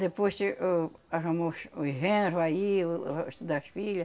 Depois che, o, arrumou o ch, o genro aí, o o resto das filha